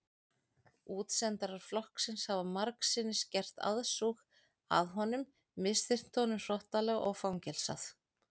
Útsendarar flokksins hafa margsinnis gert aðsúg að honum misþyrmt honum hrottalega og fangelsað.